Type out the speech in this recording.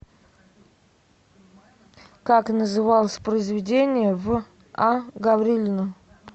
как называлось произведение в а гаврилина